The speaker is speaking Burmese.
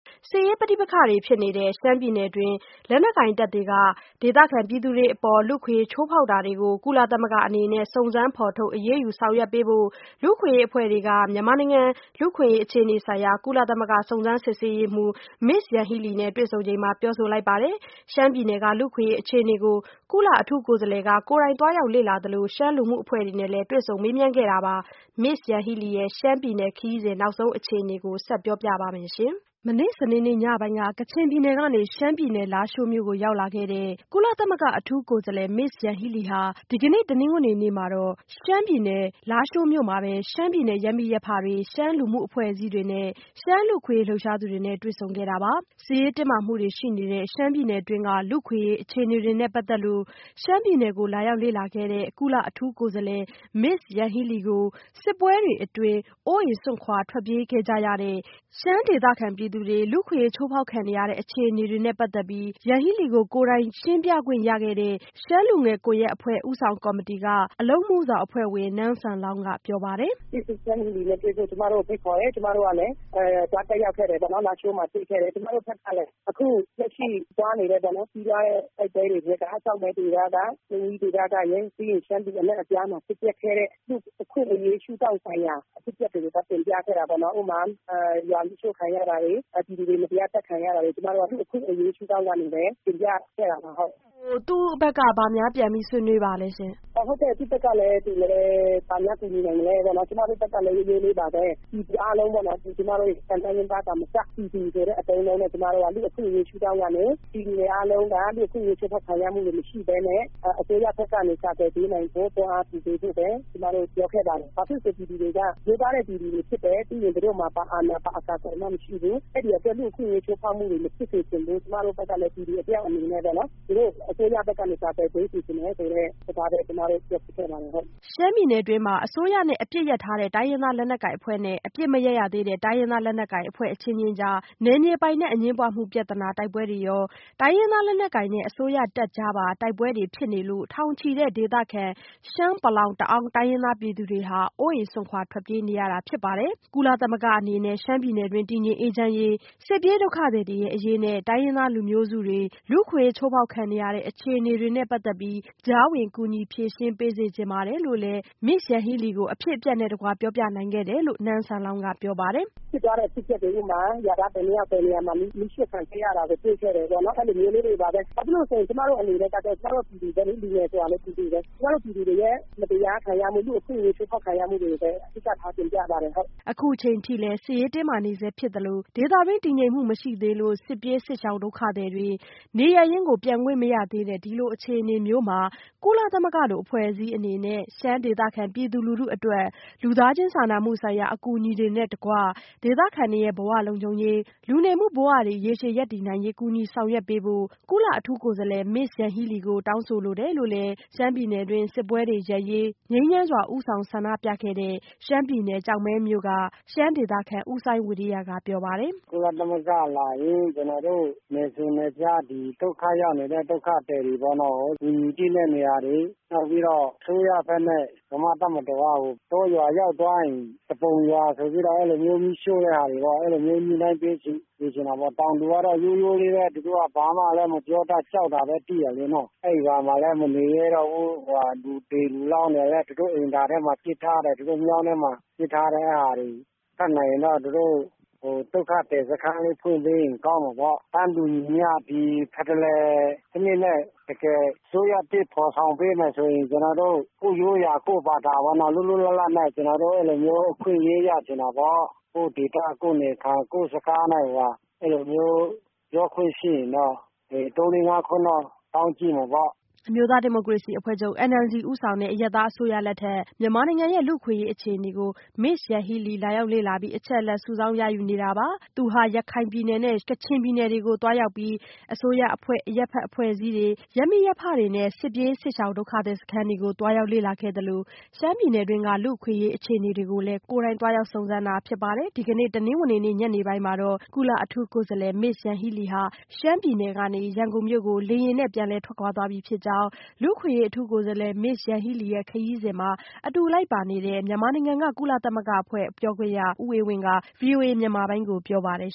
စစ်ရေးပဋိပက္ခတွေဖြစ်နေတဲ့ ရှမ်းပြည်နယ်တွင်း လက်နက်ကိုင်တပ်တွေ က ဒေသခံ ပြည်သူတွေအပေါ် လူ့အခွင့်အရေးချိုးဖောက်တာတွေကို ကုလသမဂ္ဂ အနေနဲ့ စုံစမ်းဖော်ထုတ် အရေးယူဆောင်ရွက်ပေးဖို့ ရှမ်းလူ့အခွင့်အရေးအဖွဲ့တွေ က မြန်မာနိုင်ငံလူ့အခွင့်အရေးအခြေအနေဆိုင်ရာ ကုလသမဂ္ဂ စုံစမ်းစစ်ဆေးရေးမှူး Ms. Yanghee Lee နဲ့တွေ့ဆုံချိန်မှာ ပြောလိုက်ကြပါတယ်။ ရှမ်းပြည်နယ်က လူ့အခွင့်အရေးအခြေအနေတွေကို ကုလအထူးကိုယ်စားလှယ်က သွားရောက် လေ့လာခဲ့သလို ရှမ်းလူမှုအဖွဲ့တွေနဲ့လည်း တွေ့ဆုံမေးမြန်းခဲ့တာပါ။ Ms. Yanghee Lee ရဲ့ ရှမ်းပြည်နယ်ခရီးစဉ် နောက်ဆုံးအခြေအနေတွေကို မဆုမွန်က တင်ပြထားပါတယ်။ စနေနေ့ညပိုင်းက ကချင်ပြည်နယ်ကနေ ရှမ်းပြည်နယ် လားရှိုးမြို့ကို ရောက်သွားတဲ့ ကုလအထူးကိုယ်စားလှယ် Ms. Yanghee Lee ဟာ ဒီကနေ့ တနင်္ဂနွေနေ့မှာတော့ ရှမ်းပြည်နယ်၊ လားရှိုးမြို့မှာပဲ ရှမ်းပြည်နယ် ရပ်မိရပ်ဖတွေ၊ ရှမ်းလူမှုအဖွဲ့ အစည်းတွေနဲ့ ရှမ်းလူ့အခွင့်အရေး လှုပ်ရှားသူတွေနဲ့တွေ့ဆုံခဲ့တာပါ။ စစ်ရေးတင်းမာမှုတွေရှိနေတဲ့ ရှမ်းပြည်နယ်တွင်းက လူ့အခွင့်အရေး အခြေအနေတွေနဲ့ပတ်သက်လို့ ရှမ်းပြည်နယ်ကို လာရောက်လေ့လာခဲ့တဲ့ ကုလအထူးကိုယ်စားလှယ် Ms. Yanghee lee ကို စစ်ပွဲတွေအတွင်း အိုးအိမ်စွန့်ခွာထွက်ပြေးခဲ့ရတဲ့ ရှမ်းဒေသခံပြည်သူတွေ လူ့အခွင့်အရေး ချိုးဖောက်ခံနေရတဲ့ အခြေအနေတွေနဲ့ပတ်သက်လို့ ကိုယ်တိုင်ရှင်းပြခွင့်ရခဲ့တဲ့ ရှမ်းလူငယ်ကွန်ရက်အဖွဲ့ဦးဆောင်ကော်မတီက အလုပ်အမှုဆောင်အဖွဲ့ဝင် နန်းဆန်လောင်ဝ်က အခုလိုပြောပါတယ်။ “Ms. Yanghee lee နဲ့တွေ့ဖို့ ကျမတို့ကိုဖိတ်ခေါ်တယ်။ ကျမတို့ကလည်း သွားတက်ရောက်ခဲ့တယ်။ လားရှိုးမြို့မှာ တွေ့ခဲ့တယ်ပေါ့။ ကျမတို့ဘက်ကလည်း အခုပြီးသွားတဲ့တိုက်ပွဲတွေထဲက ကျောက်မဲဒေသ၊ မိန်းဝီးဒေသကရယ် ပြီးရင် ရှမ်းပြည်နယ် ဒေသအနှံ့အပြားမှာ ဖြစ်ပျက်ခဲ့တဲ့ လူ့အခွင့်အရေး ရှုထောင့်ဆိုင်ရာ အဖြစ်အပျက်တွေကို သွားတင်ပြခဲ့တာပေါ့နော်။ ဥပမာ ရွာမီးရှို့ခံရ တာတွေ၊ ပြည်သူတွေ မတရားသတ်ဖြတ်ခံရတာတွေကို ကျမတို့က လူ့အခွင့်အရေးရှုထောင့်ကနေပဲ တင်ပြခဲ့တာပါ။ မဆုမွန်။ ။ Ms. Yanghee lee ဘက်က ဘာများ ပြန်ပြီးဆွေးနွေးပါလဲရှင့်။ “အော်ဟုတ်ကဲ့။ သူ့ဘက်ကလည်း သူ ဘာများ ပြန်ကူညီနိုင်မလဲပေါ့နော်။ ကျမတို့ဘက်ကလည်း ရိုးရိုးလေးပါပဲ။ ပြည်သူအားလုံးပေါ့နော်။ တိုင်းရင်းသား သာမက ပြည်သူဆိုတဲ့ အသုံးအနှုန်းနဲ့ လူ့အခွင့်အရေးရှုထောင့် ကနေ ပြည်သူတွေအားလုံး လူ့အခွင့်အရေးချိုးဖောက်ခံရမှု မရှိဘဲနဲ့ အစိုးရဘက်ကနေ ကာကွယ်ပေးနိုင်ဖို့ တွန်းအားပေးနိုင်ဖို့ပဲ ကျမတို့ ပြောခဲ့ပါတယ်။ ဘာဖြစ်လို့လဲဆိုတော့ ပြည်သူတွေက ရိုးသားတဲ့ပြည်သူတွေဖြစ်တယ်။ ပြီးရင် သူတို့မှာ ဘာအာဏာ၊ ဘာအကာအကွယ်မှ မရှိဘူး။ အဲ့ဒီ့အတွက် လူ့အခွင့်အရေး ချိုးဖောက်ခံရမှုတွေ မဖြစ်စေချင်ဘူး။ ကျမတို့ကလည်း ပြည်သူတယောက်အနေနဲ့ သူတို့အစိုးရဘက်ကနေ ကာကွယ်ပေးစေချင်တယ် ဆိုတဲ့စကားပဲ ကျမတို့ပြောဖြစ်ခဲ့ ပါတယ်။” ရှမ်းပြည်နယ်တွင်းမှာ အစိုးရနဲ့အပစ်ရပ်ထားတဲ့တိုင်းရင်းသားလက်နက်ကိုင်အဖွဲ့နဲ့ အပစ်မရပ်ရသေးတဲ့ တိုင်းရင်းသားလက်နက်ကိုင် အဖွဲ့အချင်းချင်းကြား နယ်မြေ ပိုင်နက်အငြင်းပွားမှုပြဿနာ တိုက်ပွဲတွေရော တိုင်းရင်းသားလက်နက်ကိုင်နဲ့ အစိုးရတပ်ကြားပါ တိုက်ပွဲတွေဖြစ်နေလို့ ထောင်ချီတဲ့ ဒေသခံ ရှမ်း၊ ပလောင်ဝ်၊ တအာင်းတိုင်းရင်းသားပြည်သူတွေဟာ အိုးအိမ်စွန့်ခွာ ထွက်ပြေးနေရတာဖြစ်ပါ တယ်။ ကုလသမဂ္ဂအနေနဲ့ ရှမ်းပြည်နယ်တွင်း တည်ငြိမ်အေးချမ်းရေး၊ စစ်ပြေး ဒုက္ခသည်တွေအရေးနဲ့ တိုင်းရင်းသားလူမျိုးစုတွေရဲ့ အခွင့်အရေး ချိုးဖောက်ခံနေရတဲ့အခြေအနေတွေနဲ့ပတ်သက်လို့ ကြားဝင်ကူညီဖြေရှင်းပေးစေ ချင်ပါတယ် လို့လည်း Ms. Yanghee lee ကို အဖြစ်အပျက်နဲ့ တကွ ပြောပြနိုင်ခဲ့တယ်လို့ နန်းဆန်လောင်ဝ်ကပြောပါတယ်။ “ဖြစ်သွားတဲ့ အဖြစ်အပျက်တွေ၊ ဥပမာ ရွာသား ဘယ်နှစ်ယောက်၊ ဘယ်နေရာမှာ မီးရှို့ခံခဲ့ရတယ်ကို တွေ့ခဲ့ရတယ်ပေါ့။ အဲ့လိုမျိုးလေးတွေပါပဲ။ ဘာဖြစ်လို့လဲဆိုတော့ ကျမတို့ကလည်း ပြည်သူပါပဲ။ လူငယ်ဆိုတာလည်း ပြည်သူပါပဲ။ ကျမတို့ ပြည်သူတွေ၊ မတရားခံရမှု လူ့အခွင့်အရေးချိုးဖောက်ခံရမှုတွေကိုပဲ အဓိကထားတင်ပြပါတယ်။” အခုအချိန်အထိလည်း စစ်ရေးတင်းမာနေဆဲဖြစ် သလို ဒေသတွင်း တည်ငြိမ်မှု မရှိသေးလို့ စစ်ပြေးစစ်ရှောင်ဒုက္ခသည်တွေ နေရပ်ရင်းကိုပြန်ခွင့်မရသေးတဲ့ ဒီလိုအခြေအနေမျိုးမှာ ကုလသမဂ္ဂလို အဖွဲ့အစည်းအနေနဲ့ ရှမ်းဒေသခံပြည်သူ လူထုအတွက် လူသားချင်းစာနာမှုဆိုင်ရာအကူအညီတွေနဲ့အတူ ဒေသခံတွေရဲ့ ဘဝလုံခြုံရေး လူနေမှုဘဝတွေ ရေရှည်ရပ်တည်နိုင်ရေး ကူညီဆောင်ရွက်ပေးဖို့ ကုလအထူးကိုယ်စားလှယ် Ms. Yanghee lee ကို တောင်းဆိုလိုတယ်လို့လည်း ရှမ်းပြည်နယ်တွင်း စစ်ပွဲတွေရပ်ရေး ငြိမ်းချမ်းစွာ ဦးဆောင်ဆန္ဒပြခဲ့တဲ့ ရှမ်းပြည်နယ် ကျောက်မဲမြို့က ရှမ်း ဒေသခံ ဦးစိုင်းဝီရိယကပြောပါတယ်။ “ကုလသမဂ္ဂလာရင် ကျနော်တို့ နယ်စွန်နယ်ဖျား ဒုက္ခရောက်နေတဲ့ ဒုက္ခသည်တွေကို ကူညီသင့်တဲ့နေရာတွေ။ နောက်ပြီးတော့ အစိုးရဘက်နဲ့ ဗမာ့တပ်မတော်ဘက်က တောရွာရောက်သွားရင် သူပုန်ရွာဆိုပြီးတော့ မီးရှို့တဲ့ဟာတွေကို ညှိနှိုင်းပေးစေချင်တယ်။ တောင်သူဆိုတော့ ရိုးရိုးလေးပဲ ဘာမှလည်း မပြောတတ်ဘူး။ ကြောက်တာပဲသိတယ်။ အဲ့ရွာမှာလည်း မနေရဲတော့ဘူး။ လူသေအလောင်းတွေလည်း သူတို့အိမ်သာထဲ ပစ်ထားတယ်။ မြောင်းထဲမှာ ပစ်ထားတယ်။ တတ်နိုင်ရင်တော့ သူတို့ ဒုက္ခသည်စခန်းလေး ဖွင့်ပေးရင် ကောင်းမယ်ပေါ့။ “တန်းတူညီမျှ ဒီဖက်ဒရယ်စနစ်နဲ့ အစိုးရသစ်ဖော်ဆောင်ပေးမယ်ဆိုရင် ကျနော်တို့ ကိုယ့်ရိုးရာ၊ ကိုယ့်ဘာသာပေါ့ ကျနော်တို့ လွတ်လွတ်လပ်လပ်နဲ့ ကျနော်တို့ အခွင့်အရေး ရချင်တာပေါ့။ ကိုယ့်ဒေသ၊ ကိုယ့်နေရာ၊ ကိုယ်စခန်းနဲ့ပေါ့ အဲ့လိုမျိုး ပြောခွင့်ရှိရင်တော့ သုံးလေးငါးခွန်းတော့ တောင်းကြည့်မယ်ပေါ့။” အမျိုးသား ဒီမိုကရေစီအဖွဲ့ချုပ် NLD ဦးဆောင်တဲ့ အရပ်သား အစိုးရသစ် လက်ထက် မြန်မာနိုင်ငံရဲ့ လူ့အခွင့်အရေးအခြေအနေကို Ms. Yanghee Lee လာရောက် လေ့လာပြီး အချက်အလက် စုဆောင်းရယူနေတာပါ။ သူဟာ ရခိုင်ပြည်နယ်နဲ့ ကချင်ပြည်နယ်ကိုလည်း သွားရောက်ပြီး အစိုးရအဖွဲ့၊ အရပ်ဖက် အဖွဲ့အစည်းတွေ၊ ရပ်မိရပ်ဖတွေနဲ့ စစ်ပြေးစစ်ရှောင် ဒုက္ခသည် စခန်းတွေကို သွားရောက် လေ့လာခဲ့သလို ရှမ်းပြည်နယ်တွင်းက လူ့အခွင့်အရေး အခြေအနေတွေကိုလည်း ကိုယ်တိုင်သွားရောက်စုံစမ်းတာဖြစ်ပါတယ်။ ဒီကနေ့ တနင်္ဂနွေနေ့ ညနေပိုင်းမှာတော့ ကုလအထူးကိုယ်စားလှယ် Ms. Yanghee Lee ဟာ ရှမ်းပြည်နယ်က နေ ရန်ကုန်မြို့ကို လေယာဉ် နဲ့ ပြန်လည်ထွက်ခွာသွား ပြီဖြစ်ကြောင်း လူ့အခွင့်အရေး အထူးကိုယ်စားလှယ် Ms. Yanghee Leeရဲ့ ခရီးစဉ်မှာ အတူလိုက်ပါနေတဲ့ ကုလသမဂ္ဂပြန်ကြားရေးအရာရှိ ဦးအေးဝင်းက ဗွီအိုအေမြန်မာပိုင်းကို ပြောပါတယ်